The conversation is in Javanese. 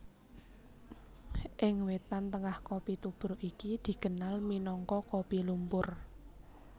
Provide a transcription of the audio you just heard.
Ing Wétan Tengah kopi tubruk iki dikenal minangka kopi lumpur